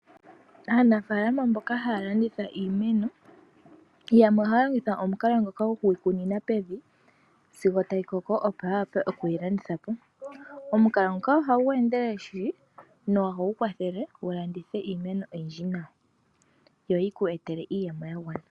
Aanafalama mboka haya landitha iimeno yamwe ohaa longitha omukalo ngoka gokuyikunina pevi sigo tayi koko opo ya wape okuyi landitha po. Omukalo nguka ohagu endelele shili nohagu kwathele wu landithe iimeno oyindji nawa yo yi kweetele iiyemo ya gwana nawa.